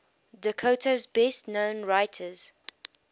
dakota's best known writers